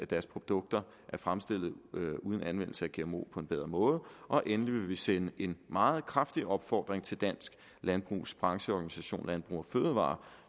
deres produkter er fremstillet uden anvendelse af gmo på en bedre måde og endelig vil vi sende en meget kraftig opfordring til dansk landbrugs brancheorganisation landbrug fødevarer